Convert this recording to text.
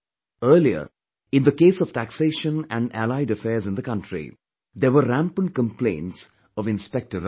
Earlier, in the case of taxation and allied affairs in the country, there were rampant complaints of Inspector Raj